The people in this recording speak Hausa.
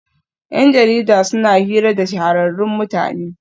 Yan jarida suna hira da shahararrun mutane